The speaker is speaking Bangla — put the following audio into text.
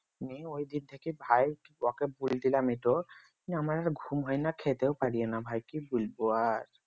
নিয়ে ঐদিন থেকে ভাই ওকে বলে দিলাম এইটো নিয়ে আমার আর ঘুম হয় না খেতেও পারিও না ভাই কি বলবো আর